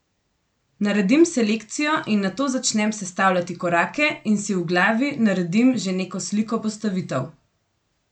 Naredim selekcijo in nato začnem sestavljati korake in si v glavi naredim že neko sliko postavitev.